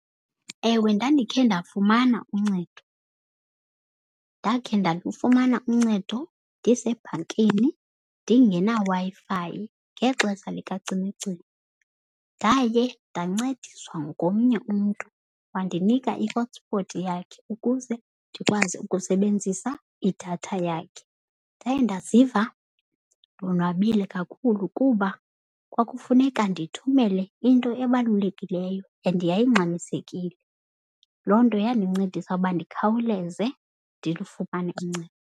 Ewe, ndandikhe ndafumana uncedo. Ndakhe ndalufumana uncedo ndisebhankini ndingena Wi-Fi ngexesha likacimicimi. Ndaye ndancediswa ngomnye umntu wandinika i-hotspot yakhe ukuze ndikwazi ukusebenzisa idatha yakhe. Ndaye ndaziva ndonwabile kakhulu kuba kwakufuneka ndithumele into ebalulekileyo and yayingxamisekile. Loo nto yandincedisa ukuba ndikhawuleze ndilufumane uncedo.